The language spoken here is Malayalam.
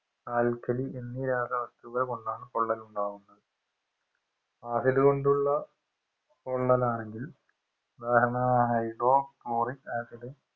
alkali എന്നീ രാസവസ്തുക്കൾ കൊണ്ടാണ് പൊള്ളൽ ഉണ്ടാവുന്നത് acid കൊണ്ടുള്ള പൊള്ളലാണെങ്കിൽ ഉദാഹരണമായി hydrochloric acid